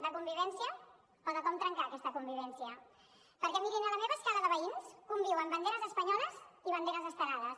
de convivència o de com trencar aquesta convivència perquè mirin a la meva escala de veïns conviuen banderes espanyoles i banderes estelades